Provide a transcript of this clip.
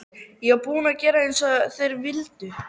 Ég var búin að gera eins og þeir vildu.